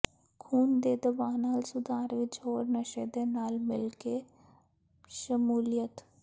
ਖੂਨ ਦੇ ਦਬਾਅ ਨਾਲ ਸੁਧਾਰ ਵਿੱਚ ਹੋਰ ਨਸ਼ੇ ਦੇ ਨਾਲ ਮਿਲ ਕੇ ਸ਼ਮੂਲੀਅਤ